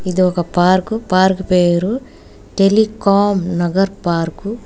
ఇదొక park park పేరు Telecom Nagar park .